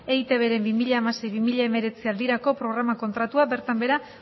eitbren bi mila hamasei bi mila hemeretzi aldirako programa kontratua bertan behera